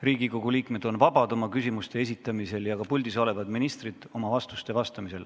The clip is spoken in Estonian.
Riigikogu liikmed on vabad oma küsimuste esitamisel ja seda on ka puldis olevad ministrid oma vastuste andmisel.